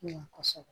Ɲɛ kɔsɛbɛ